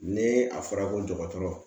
Ni a fɔra ko dɔgɔtɔrɔ